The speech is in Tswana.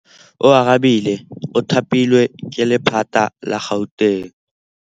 Oarabile o thapilwe ke lephata la Gauteng.